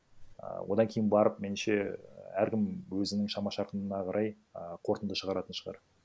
і одан кейін барып меніңше әркім өзінің шама шарқына қарай а қорытынды шығаратын шығар